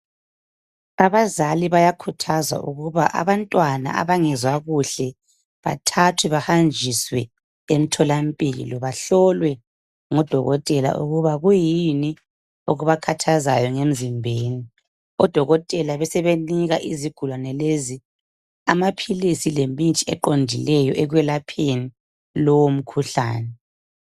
Abazali bayakhuthazwa ukuthi abantwana abangezwa kuhle bathathwe bahanjiswe emtholampilo bahlolwe ngudokotela ukuba yini okubakhathazayo emzimbeni, odokotela besebenika, izigulane lezi amaphilisi lemithi eqondileyo ukwelapha lowo mkhuhlane.